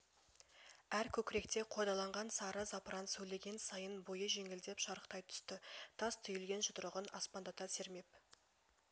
әр көкіректе қордаланған сары запыран сөйлеген сайын бойы жеңілдеп шарықтай түсті тас түйілген жұдырығын аспандата сермеп